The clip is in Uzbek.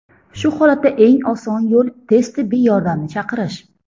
Shu holatda eng oson yo‘l tez tibbiy yordamni chaqirish.